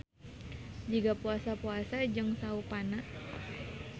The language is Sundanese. Jiga puasa-puasa jeung saupana.